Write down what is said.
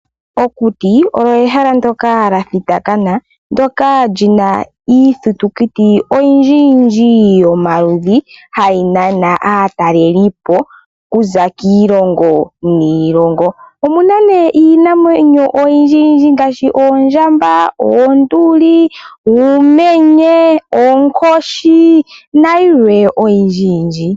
Okuti olyo ehala ndyoka lya thitakana ndyoka li na iithitukuti oyindjiyindji yomaludhi mbyoka hayi nana aatalelipo okuza kiilongo niilongo. Omu na nduno iinamwenyo oyindji ngaashi oondjamba, oonduli, uumenye, oonkoshi nayilwe oyindjiyindji.